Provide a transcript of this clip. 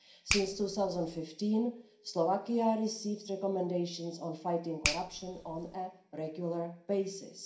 Since 2015, Slovakia has received recommendations on fighting corruption on a regular basis.